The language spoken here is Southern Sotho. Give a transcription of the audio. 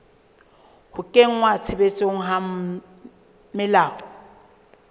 ho kenngwa tshebetsong ha melao